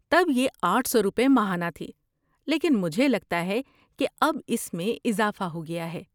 تب یہ آٹھ سو روپے ماہانہ تھی لیکن مجھے لگتا ہے کہ اب اس میں اضافہ ہو گیا ہے